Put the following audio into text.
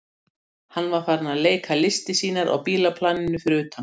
Hann var farinn að leika listir sínar á bílaplaninu fyrir utan.